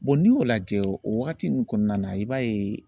n'i y'o lajɛ o waagati nunnu kɔnɔna na i b'a ye